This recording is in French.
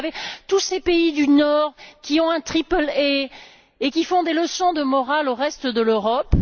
vous savez tous ces pays du Nord qui ont un triple A et qui donnent des leçons de morale au reste de l'Europe.